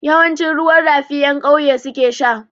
Yawanci ruwan rafi ƴan ƙauye su ke sha.